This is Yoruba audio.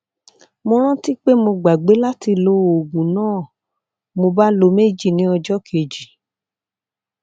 mo rántí pé mo gbàgbé láti lo oògùn náà mo bá lo méjì ní ọjọ kejì